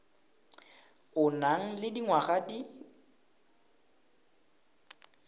o nang le dingwaga di